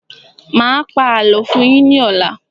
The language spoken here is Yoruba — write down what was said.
Mà á pa àlọ́ fún yín ní ọ̀la.